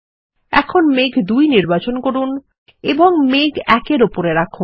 এখন মেঘ ২ নির্বাচন করুন এবং মেঘ ১ এর ওপরে রাখুন